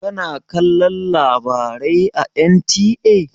Kana kalon labarai a NTA?